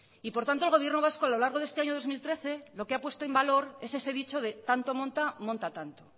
y por tanto el gobierno vasco a lo largo de este año dos mil trece lo que ha puesto en valor en ese dicho de tanto monta monta tanto